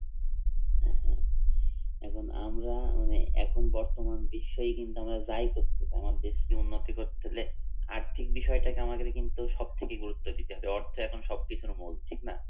এখন আমরা মানে এখন বর্তমান বিশ্বই কিন্তু যাই করতেছি, আমার দেশকে উন্নতি করতে হলে আর্থিক বিষয়টাকে আমাদের কিন্তু সবথেকে গুরুত্ব দিতে হবে। অর্থ এখন সবকিছুর মূল ঠিক না